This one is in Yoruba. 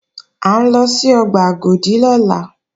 À ń lọ sí ọgbà Agodi lọ́la